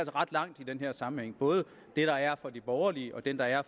ret langt i den her sammenhæng både det der er fra de borgerlige og det der er